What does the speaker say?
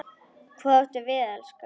Hvað áttu við, elskan?